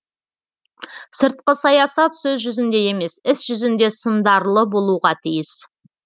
сыртқы саясат сөз жүзінде емес іс жүзінде сындарлы болуға тиіс